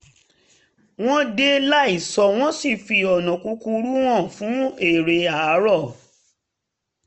wọ́n dé láìsọ wọ́n sì fi ọ̀nà kúkúrú hàn fún eré àárọ̀